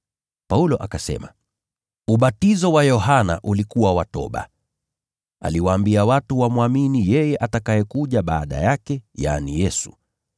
Paulo akasema, “Ubatizo wa Yohana ulikuwa wa toba, aliwaambia watu wamwamini yeye atakayekuja baada yake, yaani, Yesu.”